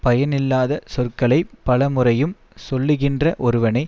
பயனில்லாத சொற்களை பலமுறையும் சொல்லுகின்ற ஒருவனை